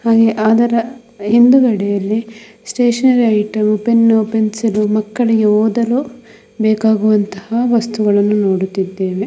ಹಾಗೆ ಅದರ ಹಿಂದುಗಡೆಯಲ್ಲಿ ಸ್ಟೇಷನರಿ ಐಟಮ್ ಪೆನ್ನು ಪೆನ್ಸಿಲ್ಲು ಮಕ್ಕಳಿಗೆ ಓದಲು ಬೇಕಾಗುವಂತಹ ವಸ್ತುಗಳನ್ನು ನೋಡುತ್ತಿದ್ದೇವೆ.